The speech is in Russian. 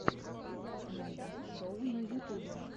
найди шоу на ютюбе